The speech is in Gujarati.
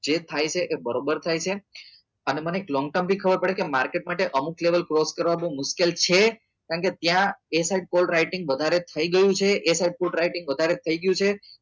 જે થાય છે એ બરોબર થાય છે અને મને એક long term બી ખબર પડે કે market માટે અમુક level cross કરવા બઉ મુશ્કેલ છે કેમ કે ત્યાં એ side call writing વધારે થયી ગયું છે એ side food writing વધારે થઇ ગયું છે